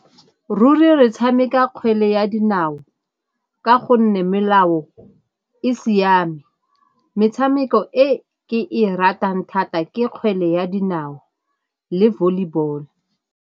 Ruri re tshameka kgwele ya dinao ka gonne melao e siame, metshameko e ke e ratang thata ke kgwele ya dinao le volleyball-o.